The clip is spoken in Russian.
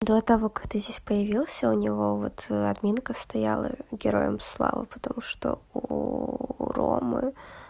до того как ты здесь появился у него вот админка стояла героям слава потому что у ромы